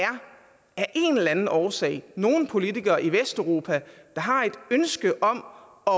en eller anden årsag er nogle politikere i vesteuropa der har et ønske om at